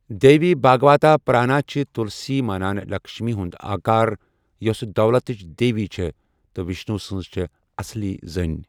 دیوی بھاگواتا پرانا چھِ تُلسی مانان لکشمی ہُنٛد آکار، یۄسہ دولتٕچ دیوی چھےٚ تہٕ وشنوٗ سنز چھےٚاصل زٔنۍ۔